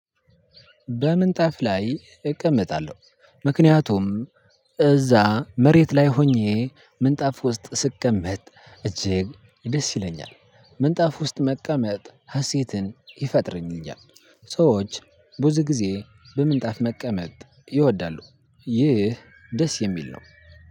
በምንጣፍ ላይ እቀመጣለሁ ምክንያቱም እዛ መሬት ላይ ሆኜ ምንጣፍ ውስጥ ስቀመጥ እጅግ ደስ ይለኛል። ምንጣፍ ውስጥ መቀመጥ ሀሴትን ይፈጥርልኛል። ሰዎች ብዙ ጊዜ በምንጣፍ መቀመጥ ይወዳሉ። ይህ ደስ የሚል ነው።